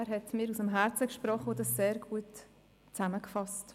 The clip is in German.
Er hat mir aus dem Herzen gesprochen und das sehr gut zusammengefasst.